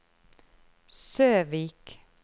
Søvik